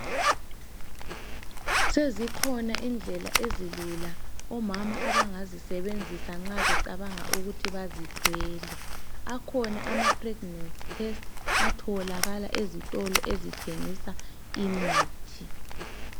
Sezikhona indlela ezilula omama abangazisebenzisa nxa becabanga ukuthi bazithwele. Akhona amapreginensi testi atholakala ezitolo ezithengisa imithi.